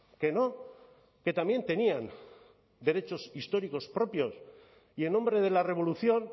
que no que también tenían derechos históricos propios y en nombre de la revolución